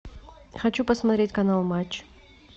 хочу посмотреть канал матч